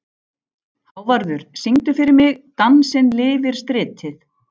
Hávarður, syngdu fyrir mig „Dansinn lifir stritið“.